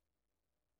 DR2